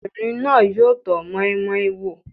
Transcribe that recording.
Ọmọbìnrin náà yóò tọ́ moi moi wò.